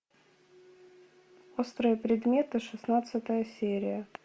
острые предметы шестнадцатая серия